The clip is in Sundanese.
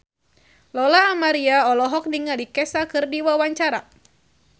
Lola Amaria olohok ningali Kesha keur diwawancara